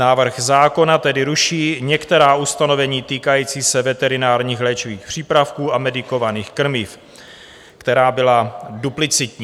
Návrh zákona tedy ruší některá ustanovení týkající se veterinárních léčivých přípravků a medikovaných krmiv, která byla duplicitní.